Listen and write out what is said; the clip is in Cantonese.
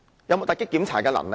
有否突擊檢查的能力？